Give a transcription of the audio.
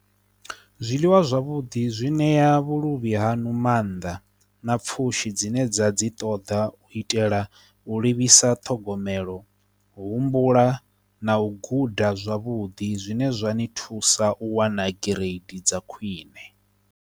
Zwiḽiwa zwavhuḓi zwi ṋea vhuluvhi hanu mannḓa na pfhushi dzine dza dzi ṱoḓa u itela u livhisa ṱhogomelo humbula na u guda zwavhuḓi zwine zwa ni thusa u wana gai trade dza khwiṋe.